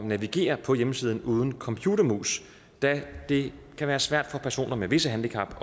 navigere på hjemmesiden uden computermus da det kan være svært for personer med visse handicap